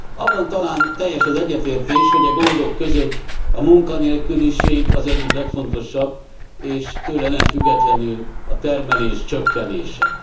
Abban talán teljes az egyetértés, hogy e gondok között a munkanélküliség az egyik legfontosabb, és tőle nem függetlenül a termelés csökkenése.